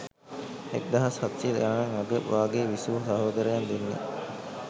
එක්දහස් හත්සිය ගණන් අග භාගයේ විසු සහෝදරයන් දෙන්නෙක්.